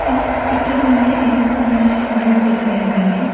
इस पिक्चर पर हमें एक सुंदर सी व्यू दिखाया गया है।